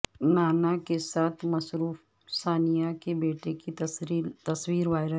نانا کے ساتھ مصروف ثانیہ کے بیٹے کی تصویر وائرل